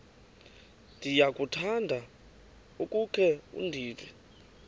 ndiyakuthanda ukukhe ndive